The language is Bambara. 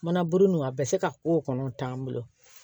Mana bugun don a bɛ se ka ko kɔnɔ t'an bolo